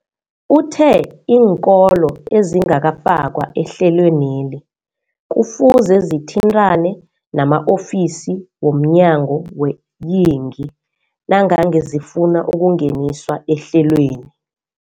Uthe iinkolo ezingakafakwa ehlelweneli kufuze zithintane nama-ofisi womnyango weeyingi nangange zifuna ukungeniswa ehlelweni.